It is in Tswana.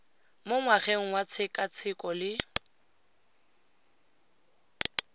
mo ngwageng wa tshekatsheko le